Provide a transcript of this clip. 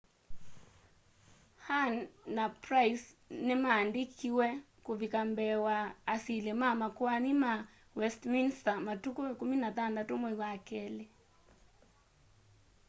huhne na pryce ni mandikiwe kuvika mbee wa asili ma makoani ma westminster matuku 16 mwai wa keli